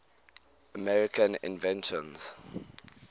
american inventions